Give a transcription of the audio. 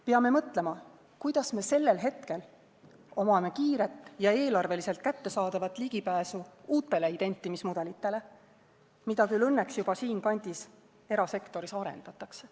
Peame mõtlema, kuidas me sellel hetkel omame kiiret ja eelarveliselt kättesaadavat ligipääsu uutele identimismudelitele, mida küll õnneks juba siinkandis erasektoris arendatakse.